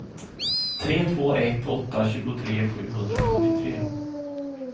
tre två ett åtta tjugotre sjuhundrasjuttiotre